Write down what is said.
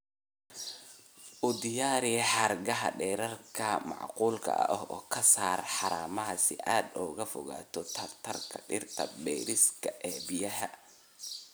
U diyaari xargaha dhererka macquulka ah oo ka saar haramaha si aad uga fogaato tartanka dhirta bariiska ee biyaha.